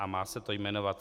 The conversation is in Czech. A má se to jmenovat